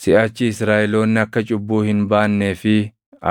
Siʼachi Israaʼeloonni akka cubbuu hin baannee fi